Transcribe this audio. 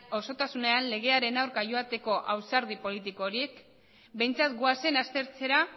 osotasunean legearen aurka joateko ausardia politiko horiek behintzat goazen aztertzera